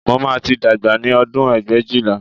Mo máa tí dàgbà ní ọdún ẹgbẹ̀éjìlá